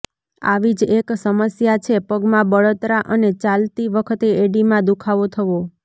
આવી જ એક સમસ્યા છે પગમાં બળતરા અને ચાલતી વખતે એડીમાં દુખાવો થવો